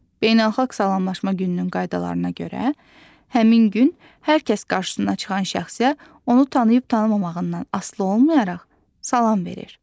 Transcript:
Beynəlxalq salamlaşma gününün qaydalarına görə həmin gün hər kəs qarşısına çıxan şəxsə onu tanıyıb-tanımamağından asılı olmayaraq salam verir.